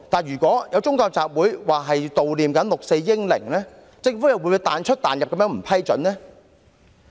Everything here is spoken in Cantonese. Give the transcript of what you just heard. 如有宗教集會表示要悼念六四英靈，不知政府又會否"彈出彈入"，不予批准呢？